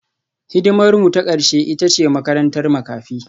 Hidimarmu ta ƙarshe ita ce makarantar makafi